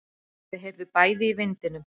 Þau heyrðu bæði í vindinum.